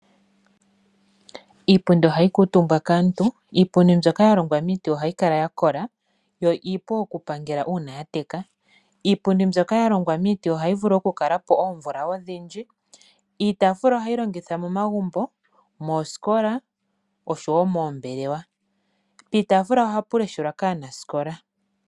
Iipundi ohayi kuutumbwa kaantu. Iipundi mbyoka ya longwa miiti iipu ohayi kala ya kola yo iipu okupangela uuna ya teka. Iipundi mbyoka ya longwa miiti ohayi vulu okukala po oomvula odhindji. Iitaafula ohayi longithwa momagumbo, moosikola oshowo moombelewa. Piitaafula ohapu leshelwa kaanasikola.